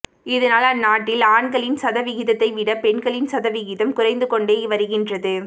இதனால் அந்நாட்டில் ஆண்களின் சதவிகிதத்தை விட பெண்களின் சதவிகிதம் குறைந்து கொண்டே வருகின்றது